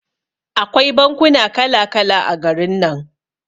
Akwai bankuna kala kala a garin nan.